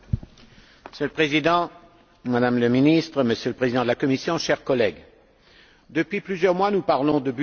Monsieur le Président, Madame le ministre, Monsieur le Président de la Commission, chers collègues, depuis plusieurs mois, nous parlons du budget.